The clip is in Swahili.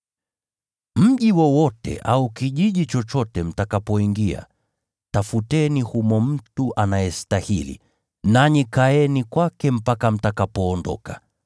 “Mji wowote au kijiji chochote mtakapoingia, tafuteni humo mtu anayestahili, nanyi kaeni kwake mpaka mtakapoondoka.